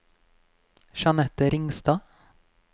Jeanette Ringstad